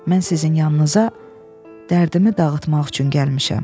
Mən sizin yanınıza dərdimi dağıtmaq üçün gəlmişəm.